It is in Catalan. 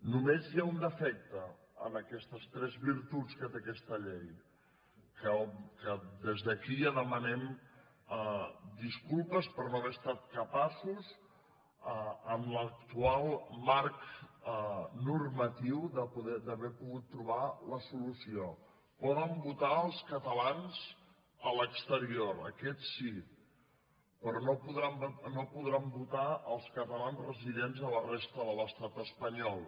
només hi ha un defecte en aquestes tres virtuts que té aquesta llei que des d’aquí ja demanem disculpes per no haver estat capaços amb l’actual marc normatiu d’haverhi pogut trobar la solució poden votar els catalans a l’exterior aquests sí però no podran votar els catalans residents a la resta de l’estat espanyol